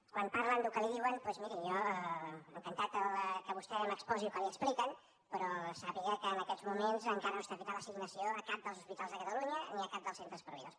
quan parla del que li diuen doncs miri jo encantat que vostè m’exposi el que li expliquen però sàpiga que en aquests moments encara no està feta l’assignació a cap dels hospitals de catalunya ni a cap dels centres proveïdors